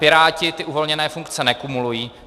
Piráti ty uvolněné funkce nekumulují.